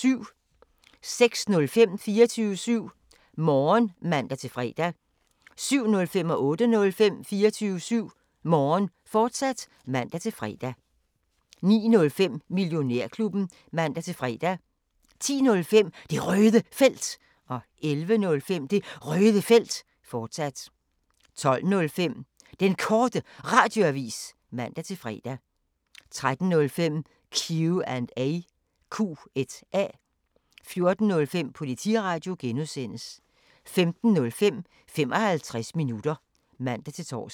06:05: 24syv Morgen (man-fre) 07:05: 24syv Morgen, fortsat (man-fre) 08:05: 24syv Morgen, fortsat (man-fre) 09:05: Millionærklubben (man-fre) 10:05: Det Røde Felt 11:05: Det Røde Felt, fortsat 12:05: Den Korte Radioavis (man-fre) 13:05: Q&A 14:05: Politiradio (G) 15:05: 55 minutter (man-tor)